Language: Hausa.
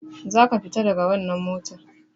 Za ka fita daga wannan mota!